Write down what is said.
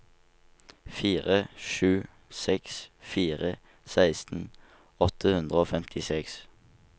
fire sju seks fire seksten åtte hundre og femtiseks